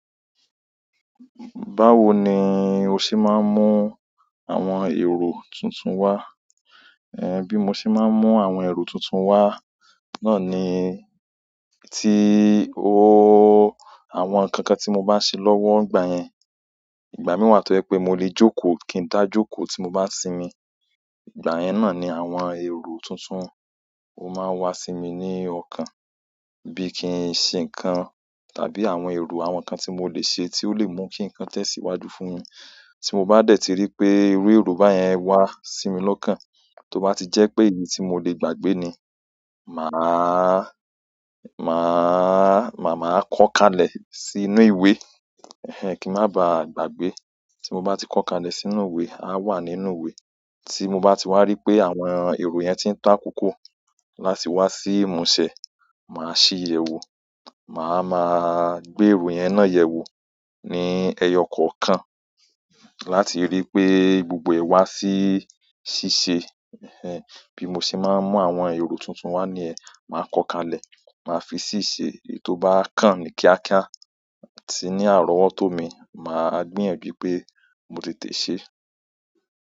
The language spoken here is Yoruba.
Báwo ni o ṣé máa ń mú àwọn èrò tuntun wá? Ẹ̀hẹ̀n, bí mo ṣe máa ń mú àwọn èrò tuntun wá, náà ni tí ooo àwọn nǹkan kan tí mo bá ṣe lọ́wọ́ ọgbà yẹn. Ìgbà mí wà tó jẹ pé mo lè jókòó kí n dá jókòó tí mo bá sinmi. Ìgbà yẹn náà ni àwọn èrò tuntun ó máa ń wá sí mi ní ọ̀kan. Bí kin ṣe ń ṣe ǹkan, tàbí àwọn èrò àwọn ǹkan tí mo lè ṣe tí ó lè mú kí ǹkan tẹ̀síwájú fún mi. Tí mo bá dẹ̀ ti rí pé irú èrò báyẹn wá sí mi lọ́kàn, tó bá ti jẹ́ pé èyí tí mo lè gbàgbé ni, màá, màá, màá kọ́ kalẹ̀ sínú ìwé, ẹ̀hẹ̀n kí a má bà gbàgbé. Tí mo bá ti kọ́ kalẹ̀ sínú ìwé, a wà nínú ìwé. Tí mo bá ti wá rí pé àwọn èrò yẹn ti ń takoko láti wá sí ìmúṣẹ, màá ṣí i yẹ̀wò. Màá máa gbé èrò yẹn náà yẹ̀wò ní ẹyọ kọ̀ọ̀kan láti rí pé gbogbo ẹ̀ wá sí ṣíṣe. Ẹ̀hẹ̀n, bí mo ṣe máa ń mú àwọn èrò tuntun wá ni yẹn, màá kọ kalẹ̀, màá fi ṣiṣẹ́ èyí tó bá kàn ní kíákíá. Tí ní àrọ́wọ́tó mi, màá gbíyanju i pé mo tẹ̀tẹ́ṣẹ́